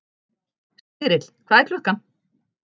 Smyrill, hvað er klukkan?